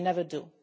We never do.